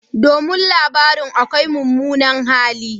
Domin labarin akwai mummunan hali.